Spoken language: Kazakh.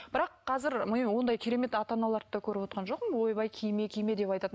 бірақ қазір ондай керемет ата аналарды да көріп отырған жоқпын ойбай киме киме деп айтатын